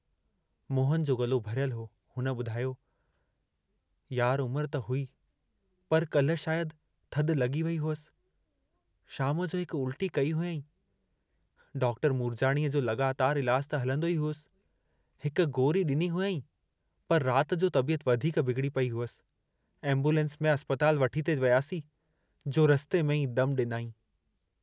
मोहन जो गलो भरियल हो हुन ॿुधायो, यार उमरु त हुई पर काल्हि शायदि थधि लॻी वेई हुअसि, शाम जो हिक उल्टी कई हुआईं, डॉ. मूरजाणीअ जो लॻातारु इलाजु त हलंदो ई हुअसि, हिक गोरी ॾिनी हुआईं, पर रात जो तबियत वधीक बिगड़ी पई हुअसि, एम्बूलेंस में अस्पताल वठी थे वियासीं जो रस्ते में ई दमु ॾिनाईं।